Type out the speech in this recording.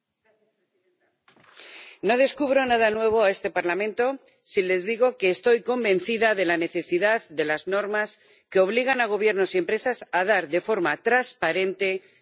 No descubro nada nuevo a este Parlamento si les digo que estoy convencida de la necesidad de las normas que obligan a gobiernos y empresas a dar de forma transparente toda la información económica.